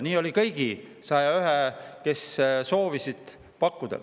Nii oli kõigi 101‑ga, kes seda soovisid pakkuda.